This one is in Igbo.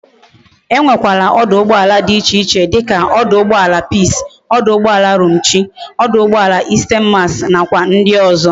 E nwe kwara ọdụ̀ụgbọàlà di iche iche dika ọdụ̀ụgbọàlà peace, ọdụ̀ụgbọàlà Romchi, ọdụ̀ụgbọàlà 'Isten mas' na kwa ndi ozo